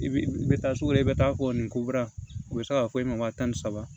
I bi i bɛ taa sugu la i bɛ taa fɔ nin ko bara o bɛ se k'a fɔ e ma waa tan ni saba